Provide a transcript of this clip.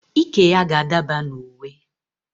Iké ya ga-adaba na uwe